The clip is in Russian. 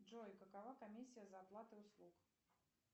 джой какова комиссия за оплату услуг